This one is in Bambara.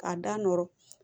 K'a da nɔrɔ